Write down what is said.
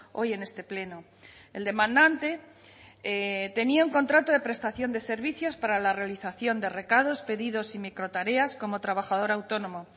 hoy en este pleno el demandante tenía un contrato de prestación de servicios para la realización de recados pedidos y microtareas como trabajador autónomo